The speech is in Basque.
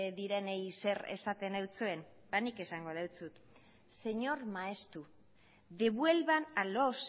direnei zer esaten dizuen ba nik esango dizut señor maeztu devuelvan a los